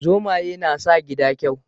Zomaye na sa gida kyau